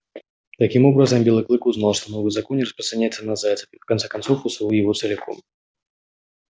таким образом белый клык узнал что новый закон не распространяется на зайцев и в конце концов усвоил его целиком